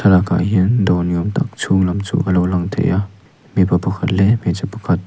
thlalak ah hian dawr ni awm tak a chhung lam chu a lonlang thei a mipa pakhat leh hmeichhe pakhat--